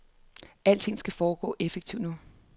Alting skal foregå effektivt nu.